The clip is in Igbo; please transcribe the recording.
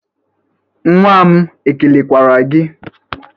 Nwa m ekelekwara gị?